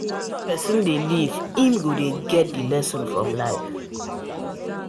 As person dey live im go dey get the lessons from life